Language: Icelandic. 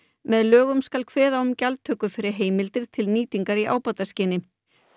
með lögum skal kveða á um gjaldtöku fyrir heimildir til nýtingar í ábataskyni